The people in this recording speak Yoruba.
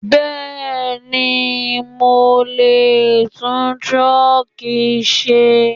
Bẹ́ẹ̀ni, Mo lè tún truck ṣe.